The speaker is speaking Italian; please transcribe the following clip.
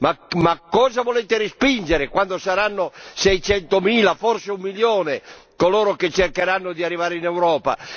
Ma cosa volete respingere, quando saranno 600000, forse un milione, coloro che cercheranno di arrivare in Europa?